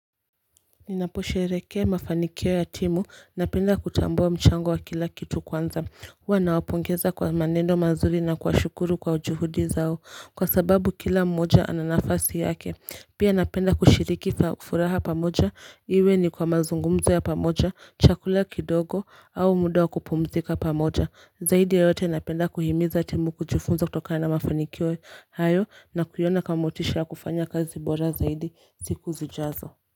Ninapo sheherekea mafanikio ya timu, napenda kutambua mchango wa kila kitu kwanza, huwa nawapongeza kwa maneno mazuri na kuwashukuru kwa juhudi zao, kwa sababu kila mmoja ananafasi yake, pia napenda kushiriki furaha pamoja, iwe ni kwa mazungumzo ya pamoja, chakula kidogo, au muda wa kupumzika pamoja, zaidi ya yote napenda kuhimiza timu kujifunza kutokana mafanikio hayo na kuyaona kama motisha ya kufanya kazi bora zaidi siku zijazo.